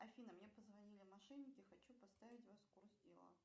афина мне позвонили мошенники хочу поставить вас в курс дела